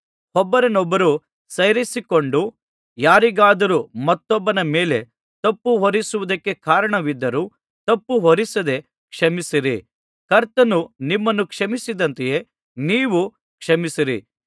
ಒಬ್ಬರನ್ನೊಬ್ಬರು ಸೈರಿಸಿಕೊಂಡು ಯಾರಿಗಾದರೂ ಮತ್ತೊಬ್ಬನ ಮೇಲೆ ತಪ್ಪುಹೊರಿಸುವುದಕ್ಕೆ ಕಾರಣವಿದ್ದರೂ ತಪ್ಪುಹೊರಿಸದೆ ಕ್ಷಮಿಸಿರಿ ಕರ್ತನು ನಿಮ್ಮನ್ನು ಕ್ಷಮಿಸಿದಂತೆಯೇ ನೀವೂ ಕ್ಷಮಿಸಿರಿ